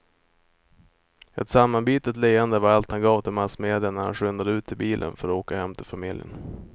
Ett sammanbitet leende var allt han gav till massmedia när han skyndade ut till bilen för att åka hem till familjen.